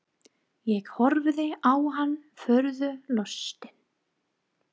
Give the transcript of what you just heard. Ég horfði á hann furðu lostinn.